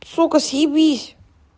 сука съебись